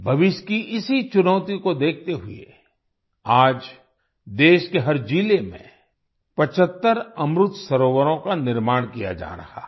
भविष्य की इसी चुनौती को देखते हुए आज देश के हर जिले में 75 अमृत सरोवरों का निर्माण किया जा रहा है